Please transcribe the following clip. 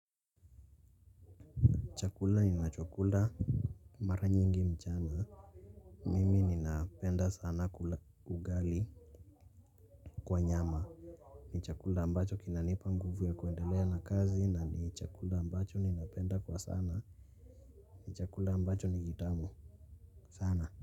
Ni chakula ninachokula mara nyingi mchana mimi ninapenda sana kula ugali kwa nyama chakula ambacho kinanipa nguvu ya kuendelea na kazi na ni chakula ambacho ninapenda kwa sababu ni chakula ambacho ni kitamu sana.